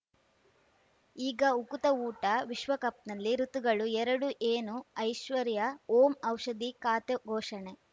ಈಗ ಉಕುತ ಊಟ ವಿಶ್ವಕಪ್‌ನಲ್ಲಿ ಋತುಗಳು ಎರಡು ಏನು ಐಶ್ವರ್ಯಾ ಓಂ ಔಷಧಿ ಖಾತೆ ಘೋಷಣೆ